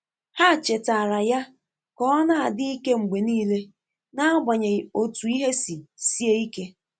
Há chètààrà yá kà ọ nà-ádị́ íké mgbè níílé, n’ágbànyéghị́ ótú ìhè sì síé íké.